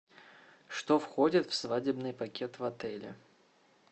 что входит в свадебный пакет в отеле